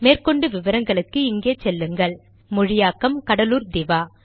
மேற்கொண்டு விவரங்களுக்கு இங்கே செல்லுங்கள் மொழியாக்கம் கடலூர் திவா